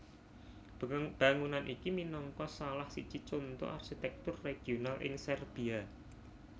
Bangunan iki minangka salah siji conto arsitèktur regional ing Serbia